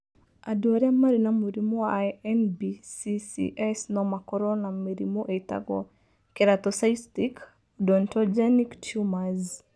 Andũ arĩa marĩ na mũrimũ wa NBCCS no makorũo na mĩrimũ ĩtagwo keratocystic odontogenic tumors.